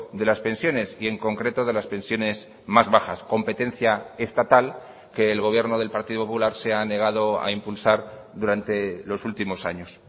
de las pensiones y en concreto de las pensiones más bajas competencia estatal que el gobierno del partido popular se ha negado a impulsar durante los últimos años